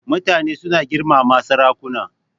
Mutane suna girmama sarakuna.